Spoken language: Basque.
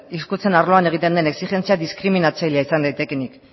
hizkuntza arloan egiten den exijentziak diskriminatzaileak izan daitekeenik